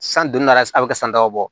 San duuru nara a bɛ kɛ san dabɔ